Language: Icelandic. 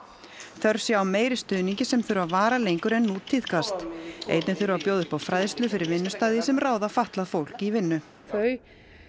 þörf sé á meiri stuðningi sem þurfi að vara lengur en nú tíðkast einnig þurfi að bjóða upp á fræðslu fyrir vinnustaði sem ráða fatlað fólk í vinnu þau